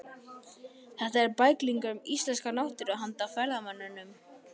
Þetta eru bæklingar um íslenska náttúru handa ferðamönnum.